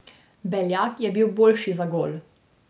Beljak je bil boljši za gol.